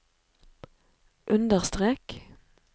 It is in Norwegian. understrek